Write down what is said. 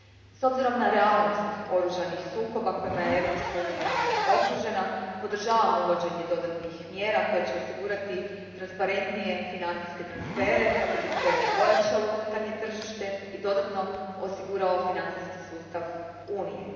S obzirom na realnost oružanih sukoba kojima je Europska unija okružena, podržavam uvođenje dodatnih mjera koje će osigurati transparentnije financijske transfere kako bi se ojačalo unutarnje tržište i dodatno osigurao financijski sustav Unije.